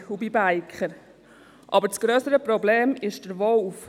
Aber das grössere Problem ist der Wolf.